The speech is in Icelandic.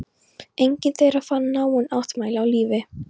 Enginn þeirra fann náin ættmenni á lífi.